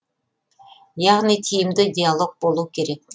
яғни тиімді диалог болу керек